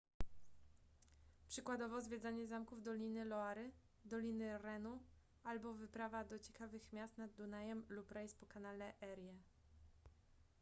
przykładowo zwiedzanie zamków doliny loary doliny renu albo wyprawa do ciekawych miast nad dunajem lub rejs po kanale erie